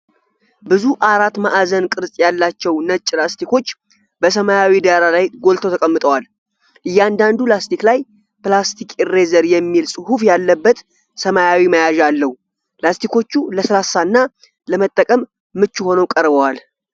ብዙ አራት ማዕዘን ቅርጽ ያላቸው ነጭ ላስቲኮች በሰማያዊ ዳራ ላይ ጎልተው ተቀምጠዋል። እያንዳንዱ ላስቲክ ላይፕላስቲክ እሬዘር የሚል ጽሑፍ ያለበት ሰማያዊ መያዣ አለው። ላስቲኮቹ ለስላሳ እና ለመጠቀም ምቹ ሆነው ይቀርበዋል።